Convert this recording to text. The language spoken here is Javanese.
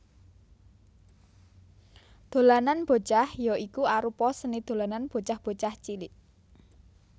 Dolanan Bocah ya iku arupa seni dolanan bocah bocah cilik